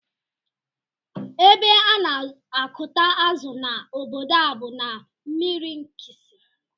Ébé ana akụta azụ na ọbọdọ a bú na mmiri nkisi.